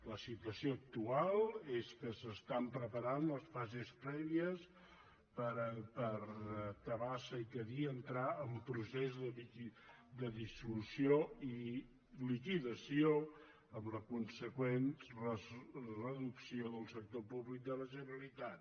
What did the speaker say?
la situació actual és que s’estan preparant les fases prèvies perquè tabasa i cadí entrin en procés de dissolució i liquidació amb la consegüent reducció del sector públic de la generalitat